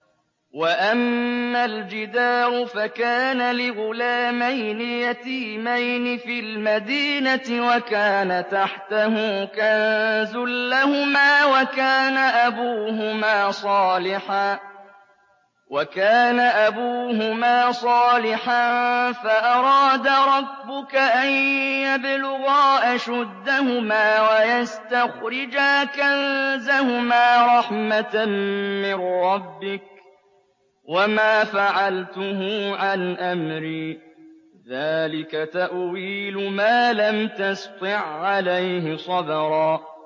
وَأَمَّا الْجِدَارُ فَكَانَ لِغُلَامَيْنِ يَتِيمَيْنِ فِي الْمَدِينَةِ وَكَانَ تَحْتَهُ كَنزٌ لَّهُمَا وَكَانَ أَبُوهُمَا صَالِحًا فَأَرَادَ رَبُّكَ أَن يَبْلُغَا أَشُدَّهُمَا وَيَسْتَخْرِجَا كَنزَهُمَا رَحْمَةً مِّن رَّبِّكَ ۚ وَمَا فَعَلْتُهُ عَنْ أَمْرِي ۚ ذَٰلِكَ تَأْوِيلُ مَا لَمْ تَسْطِع عَّلَيْهِ صَبْرًا